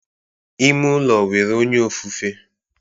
Ime ụlọ nwere onye ofufe